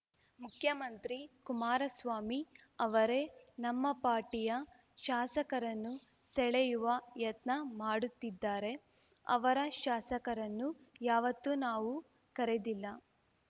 ಮುಖ್ಯಮಂತ್ರಿ ಕುಮಾರಸ್ವಾಮಿ ಅವರೇ ನಮ್ಮ ಪಾರ್ಟಿಯ ಶಾಸಕರನ್ನು ಸೆಳೆಯುವ ಯತ್ನ ಮಾಡುತ್ತಿದ್ದಾರೆ ಅವರ ಶಾಸಕರನ್ನು ಯಾವತ್ತು ನಾವು ಕರೆದಿಲ್ಲ